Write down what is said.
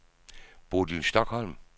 Bodil Stokholm